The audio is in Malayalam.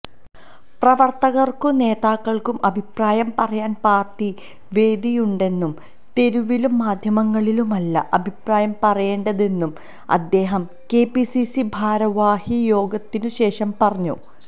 പ്രവർത്തകർക്കും നേതാക്കൾക്കും അഭിപ്രായം പറയാൻ പാർട്ടി വേദിയുണ്ടെന്നും തെരുവിലും മാധ്യമങ്ങളിലുമല്ല അഭിപ്രായം പറയേണ്ടതെന്നും അദ്ദേഹം കെപിസിസി ഭാരവാഹി യോഗത്തിനുശേഷം പറഞ്ഞു